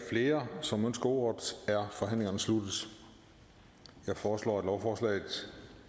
flere som ønsker ordet er forhandlingen sluttet jeg foreslår at lovforslaget